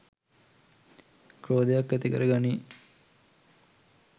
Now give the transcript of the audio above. ක්‍රෝධයක් ඇතිකර ගනියි